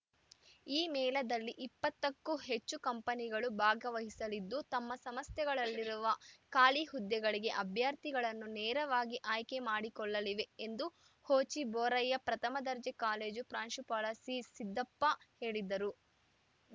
ಈ ಮೇಳದಲ್ಲಿ ಇಪ್ಪತ್ತ ಕ್ಕೂ ಹೆಚ್ಚು ಕಂಪನಿಗಳು ಭಾಗವಹಿಸಲಿದ್ದು ತಮ್ಮ ಸಂಸ್ಥೆಗಳಲ್ಲಿರುವ ಖಾಲಿ ಹುದ್ದೆಗಳಿಗೆ ಅಭ್ಯರ್ಥಿಗಳನ್ನು ನೇರವಾಗಿ ಆಯ್ಕೆ ಮಾಡಿಕೊಳ್ಳಲಿವೆ ಎಂದು ಹೋಚಿ ಬೋರಯ್ಯ ಪ್ರಥಮ ದರ್ಜೆ ಕಾಲೇಜು ಪ್ರಾಂಶುಪಾಲ ಜಿಸಿದ್ದಪ್ಪ ಹೇಳಿದರು